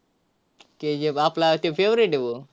KGF आपला favorite है वो.